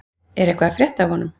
En hvað er að frétta af honum?